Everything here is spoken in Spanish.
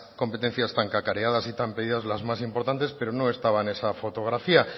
competencias tan cacareadas y tan pedidas las más importantes pero no estaba en esa fotografía